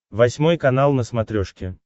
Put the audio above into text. восьмой канал на смотрешке